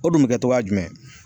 O dun bɛ kɛ togoya jumɛn.